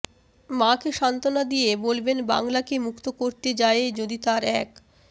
মাকে সান্ত্বনা দিয়ে বলবেন বাংলাকে মুক্ত করতে যায়ে যদি তার এক